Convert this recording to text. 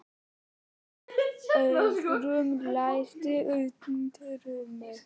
Auðrún, læstu útidyrunum.